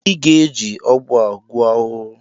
Ịga-eji ọgwụ a gbuo ahụhụ!